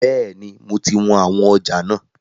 Bẹ́ẹ̀ni, mo ti wọn àwọn ọjà náà.